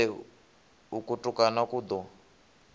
lele uku kutukana ku ḓo